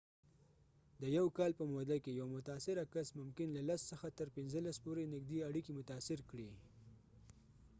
د یو کال په موده کې، یو متاثره کس ممکن له ۱۰ څخه تر ۱۵ پورې نږدې اړیکې متاثر کړي